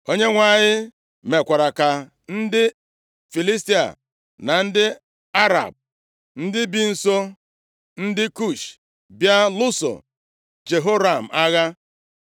Onyenwe anyị mekwara ka ndị Filistia, na ndị Arab, ndị bi nso ndị Kush, bịa lụso Jehoram agha.